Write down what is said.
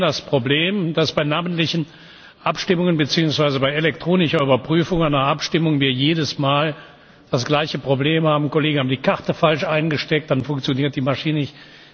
Aber Sie wissen, dass wir bei namentlichen Abstimmungen beziehungsweise bei elektronischer Überprüfung einer Abstimmung jedes Mal das gleiche Problem haben Kollegen haben die Karte falsch eingesteckt, dann funktioniert die Maschine nicht.